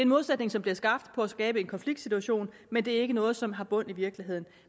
modsætning som bliver skabt for at skabe en konfliktsituation men det er ikke noget som har bund i virkeligheden